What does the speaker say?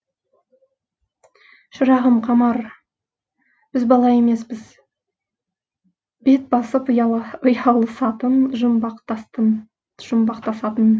шырағым қамар біз бала емеспіз бет басып ұялысатын жұмбақтасатын